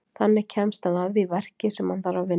Þannig kemst hann að því verki sem hann þarf að vinna.